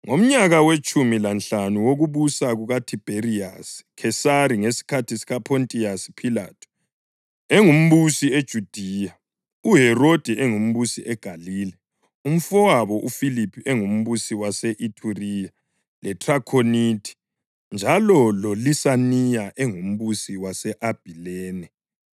Ngomnyaka wetshumi lanhlanu wokubusa kukaThibheriyasi Khesari ngesikhathi uPhontiyasi Philathu engumbusi eJudiya, uHerodi engumbusi eGalile, umfowabo uFiliphu engumbusi wase-Ithuriya leThrakhonithi, njalo loLisaniya engumbusi wase-Abhilene